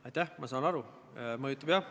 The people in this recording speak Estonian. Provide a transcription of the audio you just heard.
Sihtgrupi kaasamine peaks olema hea seadusloome tava.